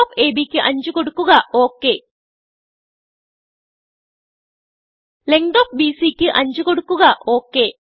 length of ABക്ക് 5കൊടുക്കുക ok length of BC ക്ക് 5കൊടുക്കുക